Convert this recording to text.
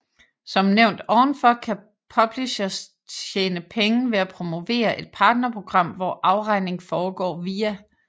Som nævnt ovenfor kan publishers tjene penge ved at promovere et partnerprogram hvor afregning foregår via